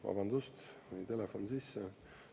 Vabandust, mul jäi telefon sisse!